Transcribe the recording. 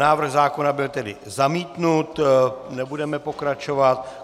Návrh zákona byl tedy zamítnut, nebudeme pokračovat.